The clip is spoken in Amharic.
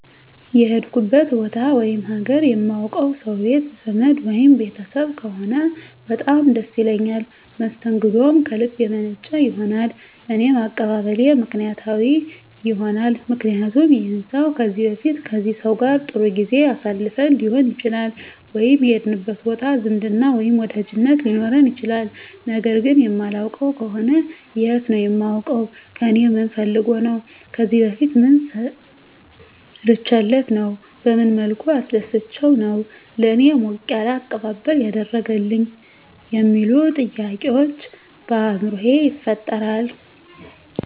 የሄድኩበት ቦታ ወይም ሀገር የማውቀው ሰው ቤት ዘመድ ወይም ቤተሰብ ከሆነ በጣም ደስ ይለኛል መስተንግደውም ከልብ የመነጨ ይሆናል እኔም አቀባበሌ ምክንያታዊ ይሆናልምክንያቱም ይህን ሰው ከዚህ በፊት ከዚህ ሰው ጋር ጥሩ ጊዜ አሳልፈን ሊሆን ይችላል ወይም የሄድንበት ቦታ ዝምድና ወይም ወዳጅነት ሊኖረን ይችላል ነገር ግን የማላውቀው ከሆነ የት ነው የማውቀው ከእኔ ምን ፈልጎ ነው ከዚህ በፊት ምን ሰርቸለት ነው በመን መልኩ አስደስቸው ነው ለእኔ ሞቅ ያለ አቀባበል ያደረገልኝ የሚሉ ጥያቄዎች በአይምሮየ ይፈጠራል